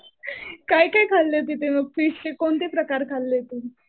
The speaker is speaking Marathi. काय काय खाल्लं तिथे मग फिशचे कोणते प्रकार खाल्ले तिथे?